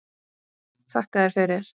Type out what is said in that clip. Þakka þér fyrir!